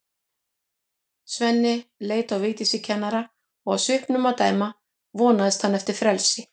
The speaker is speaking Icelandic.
Svenni leit á Vigdísi kennara og af svipnum að dæma vonaðist hann eftir frelsi.